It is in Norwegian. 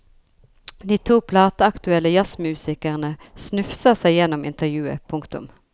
De to plateaktuelle jazzmusikerne snufser seg gjennom intervjuet. punktum